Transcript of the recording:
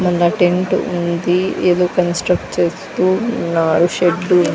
మల్ల టెంటు ఉంది ఏదో కన్స్ట్రక్ట్ చేస్తూ ఉన్నారు షెడ్డు .